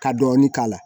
Ka dɔɔnin k'a la